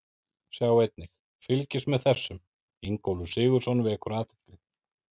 Sjá einnig: Fylgist með þessum: Ingólfur Sigurðsson vekur athygli